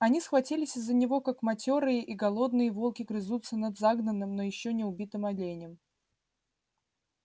они схватились из-за него как матёрые и голодные волки грызутся над загнанным но ещё не убитым оленем